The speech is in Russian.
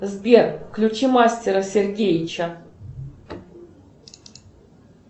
сбер включи мастера сергеевича